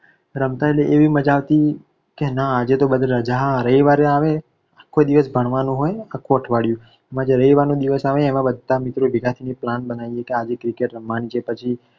રમતા એટલે એવી મજા આવતી કે ના આજે તો બધે રજા રવિવાર આવે કોઈ દિવસ ભણવાનું હોય આખું અઠવાડિયું એમાં જે રવિવારનો દિવસ આવે એમાં બધા મિત્રો ભેગા થઈને plan બનાવીએ કે આજે cricket રમવાની છે પછી.